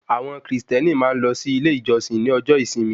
Àwọn kìrìsìtẹ́nì máa ń lọ sí ilé ìjọsìn ní ọjọ́ ìsinmi